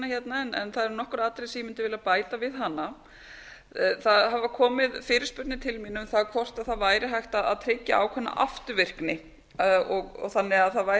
hérna en það eru nokkur atriði sem ég mundi vilja bæta við hana það hafa komið fyrirspurnir til mín um það hvort það væri hægt að tryggja ákveðna afturvirkni þannig að það væri